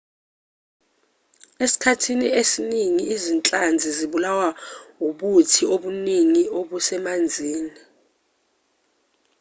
esikhathini esiningi izinhlanzi zibulawa ubuthi obuningi obusemanzini